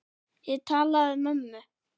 Ég talaði við mömmu.